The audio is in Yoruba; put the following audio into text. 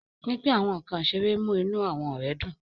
Pínpín àwọn nkán iṣere mu inú awọn ọrẹ dun.